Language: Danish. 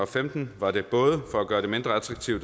rækken og det